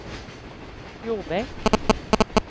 Bjorbekk